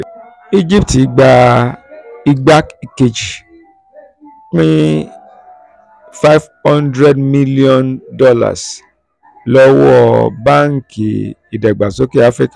egypt gba ìgbà kejì pin um $ five hundred mílíọ́nù um lọ́wọ́ banki um ìdàgbàsókè afíríkà.